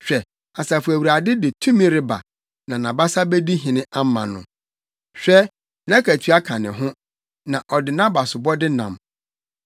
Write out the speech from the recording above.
Hwɛ, Asafo Awurade de tumi reba, na nʼabasa bedi hene ama no. Hwɛ, nʼakatua ka ne ho, na ɔde nʼabasobɔde nam.